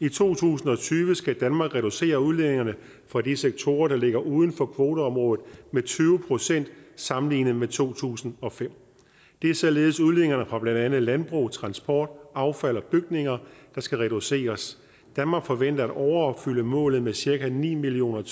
i to tusind og tyve skal danmark reducere udledningerne fra de sektorer der ligger uden for kvoteområdet med tyve procent sammenlignet med to tusind og fem det er således udledningerne fra blandt andet landbrug transport affald og bygninger der skal reduceres danmark forventer at overopfylde målet med cirka ni million